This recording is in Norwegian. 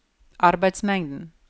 arbeidsmengden